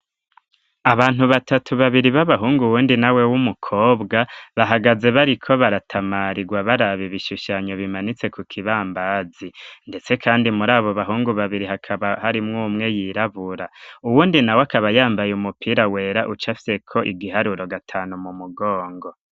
Abantu batatu, babiri b'abahungu uwundi nawe w'umukobwa bahagaze bariko baratamarirwa baraba ibishushanyo bimanitse ku kibambazi. Ndetse kandi muri abo bahungu babiri hakaba harimw'umwe yirabura. Uwundi nawe akaba yambaye umupira wera ucafye ko igiharuro gatanu mu mugongo.